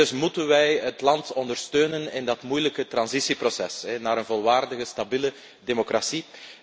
Dus moeten wij het land ondersteunen in dat moeilijke transitieproces naar een volwaardige stabiele democratie.